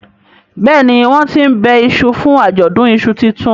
Béèni wón tín ńbe iṣu fún Ajọdun iṣu títún.